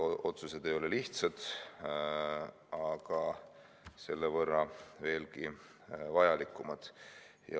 Otsused ei ole lihtsad, aga selle võrra veelgi vajalikumad.